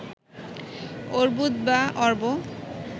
অর্বুদ বা অর্ব